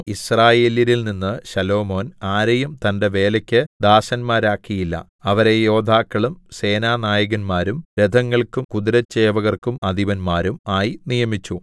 യിസ്രായേല്യരിൽ നിന്ന് ശലോമോൻ ആരെയും തന്റെ വേലക്ക് ദാസന്മാരാക്കിയില്ല അവരെ യോദ്ധാക്കളും സേനാനായകന്മാരും രഥങ്ങൾക്കും കുതിരച്ചേവകർക്കും അധിപന്മാരും ആയി നിയമിച്ചു